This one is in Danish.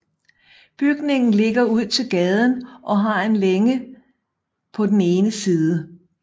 Bygningen ligger ud til gaden og har en længe på den ene side